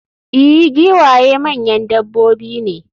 i, giwaye manyan dabbobi ne